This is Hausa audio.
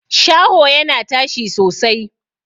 Shaho yana tashi sosai.